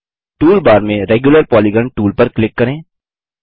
toolbar में regular polygon tool पर click करें